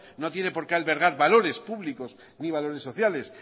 no tienen porqué albergar valores públicos ni valores sociales